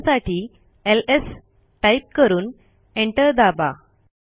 त्या बघण्यासाठी LS type करून एंटर दाबा